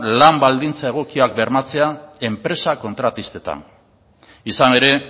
lan baldintza egokiak bermatzea enpresa kontratistetan izan ere